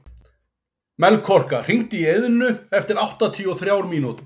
Melkorka, hringdu í Eðnu eftir áttatíu og þrjár mínútur.